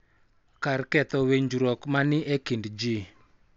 Kar ketho winjruok ma ni e kind ji.